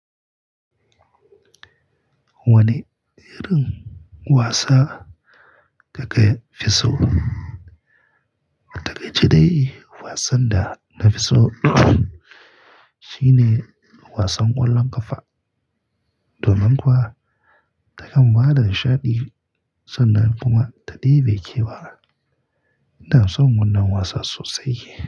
Wane irin wasa kake fi so? Taƙaice dai wasan da na fi so shine wasan ƙwallon ƙafa. Domin kuwa ta kan ba da nishaɗi sannan kuma ta ɗebe kewa. Ina son wannan wasan sosai.